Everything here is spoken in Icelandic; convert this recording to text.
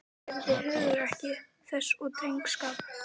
Ég virði hugrekki þess og drengskap.